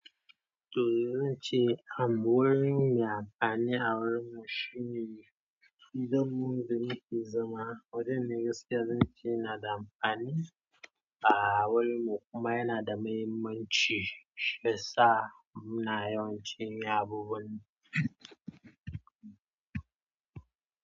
To zan ce abu mai amfani a wurinmu shine gidan mu, da muke zama wajen ne gaskiya zan ce yana da amfani a wurinmu kuma yana da mahimmanci. Shiyasa muna yawancin yi abubuwan.